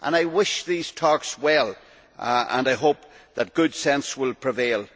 I wish these talks well and I hope that good sense will prevail.